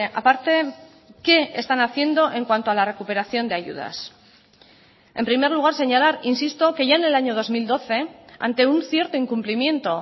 a parte qué están haciendo en cuanto a la recuperación de ayudas en primer lugar señalar insisto que ya en el año dos mil doce ante un cierto incumplimiento